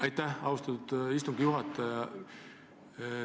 Aitäh, austatud istungi juhataja!